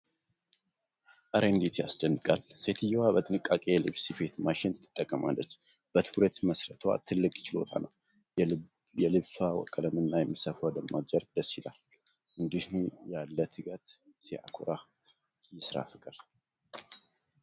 እረ እንዴት ያስደንቃል! ሴትየዋ በጥንቃቄ የልብስ ስፌት ማሽን ትጠቀማለች። በትኩረት መሥራቷ ትልቅ ችሎታ ነው። የልብሷ ቀለምና የምትሰፋው ደማቅ ጨርቅ ደስ ይላል። እንዲህ ያለ ትጋት ሲያኮራ! የሥራ ፍቅር ሲደንቅ!